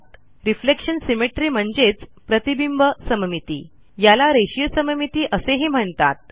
reflection symmetry म्हणजेच प्रतिबिंब सममिती याला रेषीय सममिती असेही म्हणतात